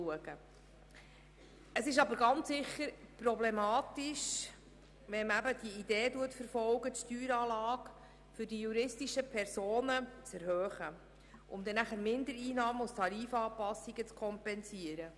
Es ist aber ganz sicher problematisch, die Steueranlage für juristische Personen zu erhöhen, um danach Mindereinnahmen mit Tarifanpassungen zu kompensieren.